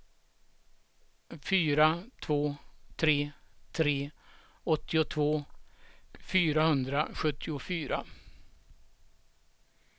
fyra två tre tre åttiotvå fyrahundrasjuttiofyra